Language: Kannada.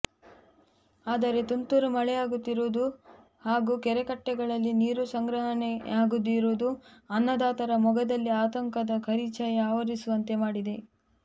ಆದರೆ ತುಂತುರು ಮಳೆಯಾಗುತ್ತಿರುವುದು ಹಾಗೂ ಕೆರೆಕಟ್ಟೆಗಳಲ್ಲಿ ನೀರು ಸಂಗ್ರಹಣೆಯಾಗದಿರುವುದು ಅನ್ನದಾತರ ಮೊಗದಲ್ಲಿ ಆತಂಕದ ಕರಿಛಾಯೆ ಆವರಿಸುವಂತೆ ಮಾಡಿದೆ